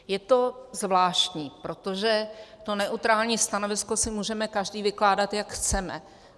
Je to zvláštní, protože to neutrální stanovisko si můžeme každý vykládat, jak chceme.